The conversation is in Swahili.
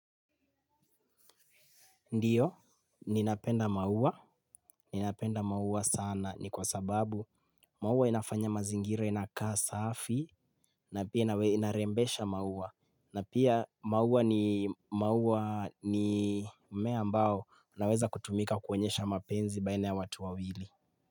Ndiyo, ninapenda maua. Ninapenda maua sana ni kwa sababu maua inafanya mazingira inakaa safi na pia inarembesha maua. Na pia maua ni maua ni mmea ambao unaweza kutumika kuonyesha mapenzi baina ya watu wawili.